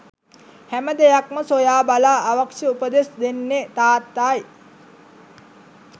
හැම දෙයක්ම සොයාබලා අවශ්‍ය උපදෙස් දෙන්නේ තාත්තයි